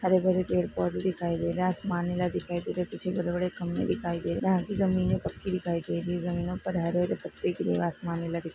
हरे भरे पेड़ पोधे दिखाई दे रहे है आसमान नीला दिखाई दे रहा है पीछे बड़े बड़े खंबे दिखाई दे रहे जमीने पक्की दिखाई दे रही है जमीनों पर हरे हरे पत्ते --